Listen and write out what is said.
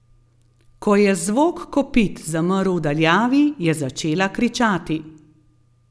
Ko je zvok kopit zamrl v daljavi, je začela kričati.